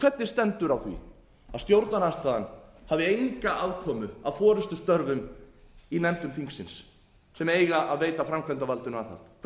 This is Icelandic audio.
hvernig stendur að því að stjórnarandstaðan hafi enga aðkomu að forustustörfum í nefndum þingsins sem eiga að veita framkvæmdarvaldinu aðhald hvernig